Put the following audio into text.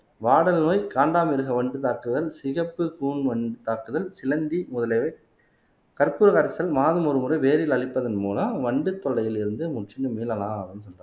வாடல் நோய் காண்டாமிருக வண்டு தாக்குதல் சிகப்பு கூன் வண்டு தாக்குதல் சிலந்தி முதலியவை கற்பூர கரைசல் மாதம் ஒருமுறை வேரில் அளிப்பதன் மூலம் வண்டு தொல்லையிலிருந்து முற்றிலும் மீளலாம்